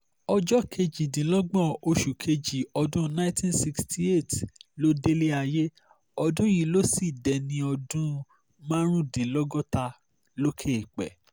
ọjọ́ kejìdínlọ́gbọ̀n oṣù kejì ọdún 1968 ló délẹ̀ ayé ọdún yìí ló sì dẹni ọdún márùndínlọ́gọ́ta lókè eèpẹ̀